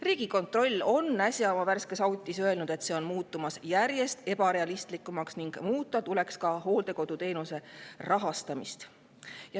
Riigikontroll on äsja oma värskes auditis öelnud, et see on muutumas järjest ebarealistlikumaks ning muuta tuleks ka hooldekoduteenuse rahastamist.